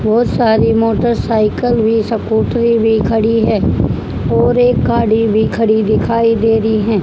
बहोत सारी मोटरसाइकल भी सकुटरी भी खड़ी है और एक गाड़ी भी खड़ी दिखाई दे रही हैं।